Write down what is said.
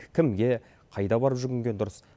кімге қайда барып жүгінген дұрыс